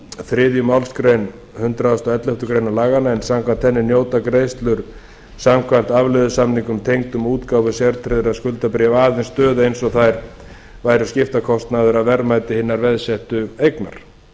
þriðju málsgrein hundrað og elleftu grein laganna en samkvæmt henni njóta greiðslur samkvæmt afleiðusamningum tengdum útgáfu sértryggðra skuldabréfa aðeins stöðu eins og þær væru skiptakostnaður af verðmæti hinnar veðsettu eignar